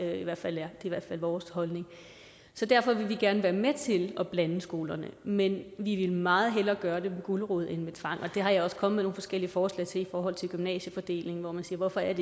er i hvert fald vores holdning så derfor vil vi gerne være med til at blande skolerne men vi vil meget hellere gøre det med gulerod end med tvang og det er jeg også kommet med nogle forskellige forslag til i forhold til gymnasiefordeling hvor man siger hvorfor